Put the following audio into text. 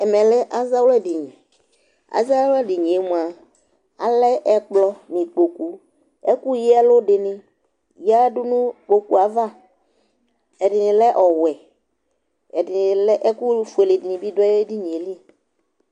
ɛmɛ lɛ azawla dini, azawla dinie mʋa, alɛ ɛkplɔ nu ikpoku, ɛku yɛlu dini yadu nu ikpokue ava, ɛdini lɛ ɔwɛ, ɛdini lɛ, ɛku fuele dini bi lɛ nu edinie li